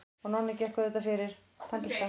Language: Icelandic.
Og Nonni gekk auðvitað fyrir.